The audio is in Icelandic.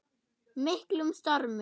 miklum stormi.